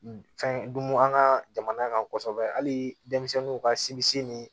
Fɛn dun an ka jamana kɔsɔbɛ hali denmisɛnninw ka sinbise ni